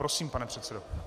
Prosím, pane předsedo.